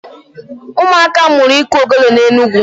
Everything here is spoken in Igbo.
Ụmụaka m mụrụ iku ogele n'Enugwu.